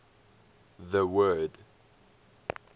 the word